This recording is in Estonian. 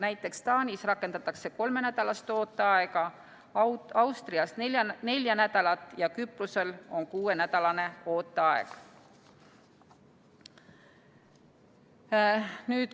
Näiteks Taanis rakendatakse kolmenädalast ooteaega, Austrias nelja nädalat ja Küprosel on kuuenädalane ooteaeg.